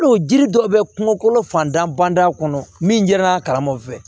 Hali jiri dɔ bɛ kungokolo fantan banda kɔnɔ min jɛra a kalama fɛ